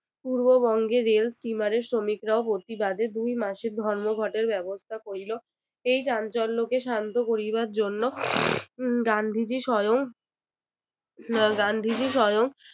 পূর্ববঙ্গের rail steamer এর শ্রমিকরাও প্রতিবাদে দুই মাসের ধর্মঘটের ব্যবস্থা করিলো। এই চাঞ্চল্যকে শান্ত করিবার জন্য উম গান্ধীজী স্বয়ং গান্ধীজী স্বয়ং